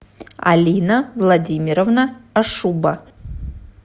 алина владимировна ашуба